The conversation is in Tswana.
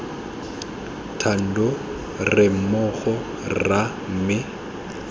thando re mmogo rra mme